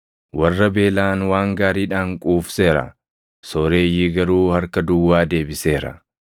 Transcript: Warra beelaʼan waan gaariidhaan quufseera; sooreyyii garuu harka duwwaa deebiseera.